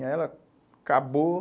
Aí ela acabou.